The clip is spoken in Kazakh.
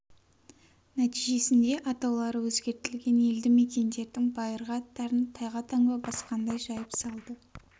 нәтижесінде атаулары өзгертілген елді мекендердің байырғы аттарын тайға таңба басқандай жайып салды